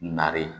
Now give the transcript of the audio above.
Nari